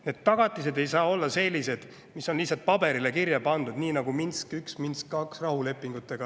Need tagatised ei saa olla sellised, mis on lihtsalt paberile kirja pandud, nagu Minsk 1 ja Minsk 2 rahulepingud.